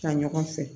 Ta ɲɔgɔn fɛ